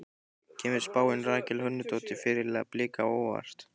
Kemur spáin Rakel Hönnudóttur, fyrirliða Blika á óvart?